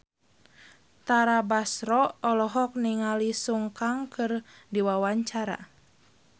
Tara Basro olohok ningali Sun Kang keur diwawancara